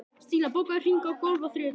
Stína, bókaðu hring í golf á þriðjudaginn.